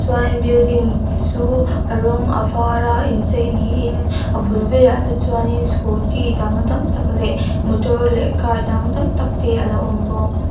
chuan a building chu a rawng a var a inchei niin a bul velah te chuanin scooty dang tam tak leh motor leh car dang tam tak te alo awm bawk.